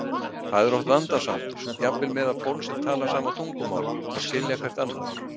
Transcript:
Það er oft vandasamt, jafnvel meðal fólks sem talar sama tungumál, að skilja hvert annað.